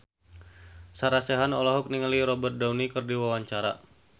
Sarah Sechan olohok ningali Robert Downey keur diwawancara